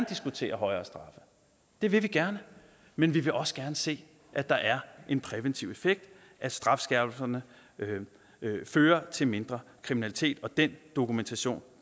diskutere højere straffe det vil vi gerne men vi vil også gerne se at der er en præventiv effekt at strafskærpelserne fører til mindre kriminalitet og den dokumentation